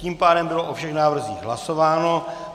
Tím pádem bylo o všech návrzích hlasováno.